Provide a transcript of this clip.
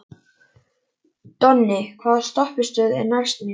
Donni, hvaða stoppistöð er næst mér?